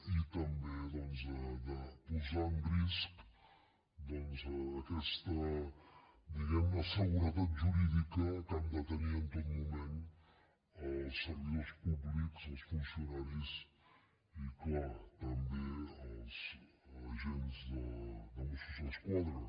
i també doncs de posar en risc aquesta diguem ne seguretat jurídica que han de tenir en tot moment els servidors públics els funcionaris i clar també els agents de mossos d’esquadra